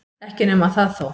Ekki nema það þó!